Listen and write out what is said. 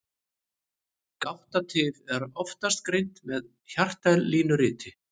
Gáttatif er oftast greint með hjartalínuriti.